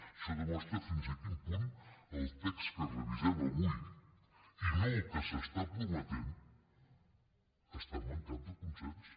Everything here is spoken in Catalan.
això demostra fins a quin punt el text que revisem avui i no el que s’està prometent està mancat de consens